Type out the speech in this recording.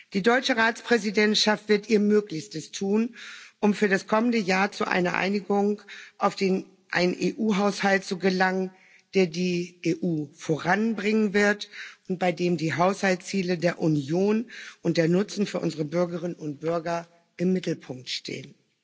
Die deutsche Ratspräsidentschaft wird ihr Möglichstes tun, um für das kommende Jahr zu einer Einigung auf einen EU Haushalt zu gelangen, der die EU voranbringen wird und bei dem die Haushaltsziele der Union und der Nutzen für unsere Bürgerinnen und Bürger im Mittelpunkt stehen.